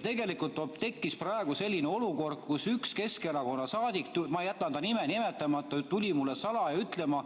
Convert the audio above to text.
Tegelikult tekkis praegu selline olukord, kus üks Keskerakonna saadik, ma jätan ta nime nimetamata, tuli mulle salaja ütlema,